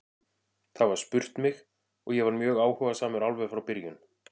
Það var spurt mig og ég var mjög áhugasamur alveg frá byrjun.